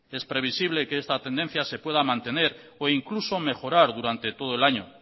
es previsible que esta tendencia se pueda mantener o incluso mejorar durante todo el año